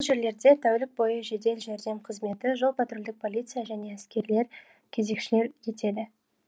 бұл жерлерде тәулік бойы жедел жәрдем қызметі жол патрульдік полиция және әскерилер кезекшілік етеді